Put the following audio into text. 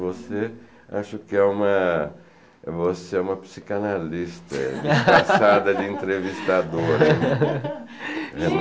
Você, acho que é uma, você é uma psicanalista, é desgraçada de entrevistadora. (fala com risos)